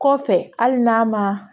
Kɔfɛ hali n'a ma